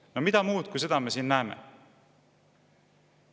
No mida muud kui seda me siin näeme?